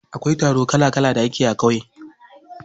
Akwai taro kala kala da ake yi a ƙauye.